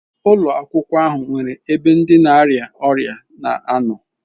Ụlọ akwụkwọ ahụ nwere ebe ndi na-arịa ọrịa na anọ.